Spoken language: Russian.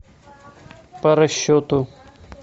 по расчету